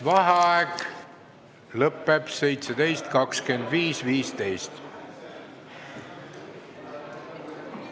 Vaheaeg lõpeb kell 17.25.15.